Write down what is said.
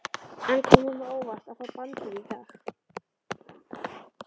En kom honum á óvart að fá bandið í dag?